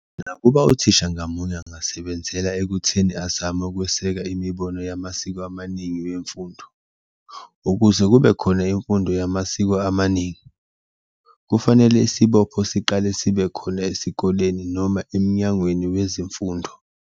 Nakuba uthisha ngamunye angasebenzela ekutheni azame ukweseka imibono yamasiko amaningi wemfundo, ukuze kube khona imfundo yamasiko amaningi, kufanele isibopho siqale sibe khona esikoleni noma emnyangweni weze mfundo.